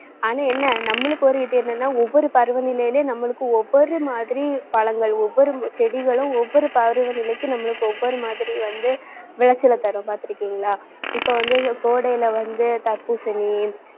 ஆனா, என்ன நம்மளுக்கு, ஒரு இது என்னன்னா ஒவ்வொரு பருவநிலையில நம்மளுக்கு ஒவ்வொரு மாதிரி பழங்கள் ஒவ்வொரு செடிகளும் ஒவ்வொரு பருவ நிலைக்கு நம்மளுக்கு ஒவ்வொரு மாதிரி வந்து விளைச்சலை தரும். பார்த்திருக்கீங்களா இப்ப வந்து இந்த கோடையில வந்து தர்பூசணி